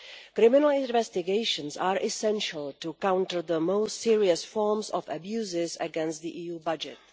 Criminal investigations are essential to counter the most serious forms of abuse against the EU budget.